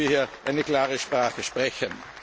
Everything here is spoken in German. Daher müssen wir hier eine klare Sprache sprechen.